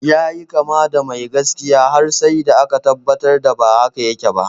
Yayi kama da mai gaskiya, har sai da aka tabbatar ba haka yake ba.